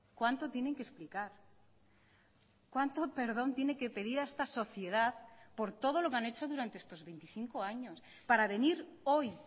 cuánto tienen que explicar cuánto perdón tiene que pedir a esta sociedad por todo lo que han hecho durante estos veinticinco años para venir hoy